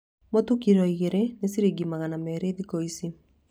Mũtu kiro igĩrĩ nĩ ciringi magana merĩ thikũ ici